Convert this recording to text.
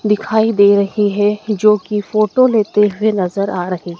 दिखाई दे रही है जो कि फोटो लेते हुए नज़र आ रही--